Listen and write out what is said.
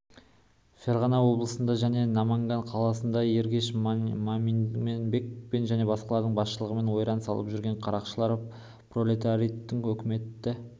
ферғана облысында және наманган қаласында ергеш мадамин-бек және басқалардың басшылығымен ойран салып жүрген қарақшылар пролетариаттың өкіметі